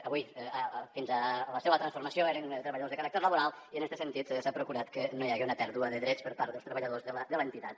avui fins a la seua transformació eren treballadors de caràcter laboral i en este sentit s’ha procurat que no hi hagi una pèrdua de drets per part dels treballadors de l’entitat